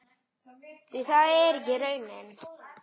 Því það er ekki raunin.